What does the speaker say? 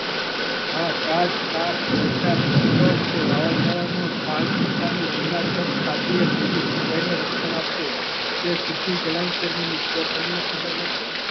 આ તાપ, વરસાદ, વંટોળ, કે વાવાઝોડા રક્ષણ આપવું તે સિદ્ધિ ગણાય કે નહીં એ તમને ખબર નથી.